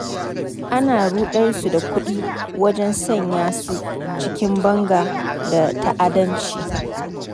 Ana ruɗar su da kuɗi wajen sanya su cikin banga da ta'addanci.